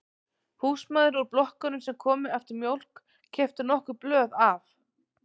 Húsmæður úr blokkunum sem komu eftir mjólk keyptu nokkur blöð af